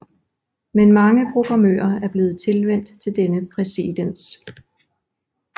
Men mange programmører er blevet tilvænt til denne præcedens